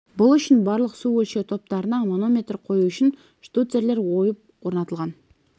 бұл үшін барлық су өлшеу тораптарына манометр қою үшін штуцерлер ойып орнатылған